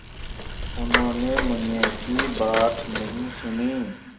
उन्होंने मुनिया की बात नहीं सुनी